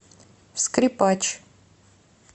скрипач